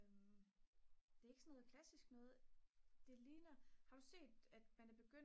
men det er ikke sådan noget klassisk noget det ligner har du set at man er begyndt at